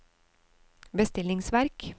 bestillingsverk